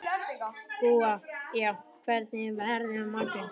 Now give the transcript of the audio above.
Gúa, hvernig er veðrið á morgun?